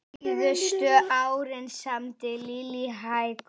Síðustu árin samdi Lillý hækur.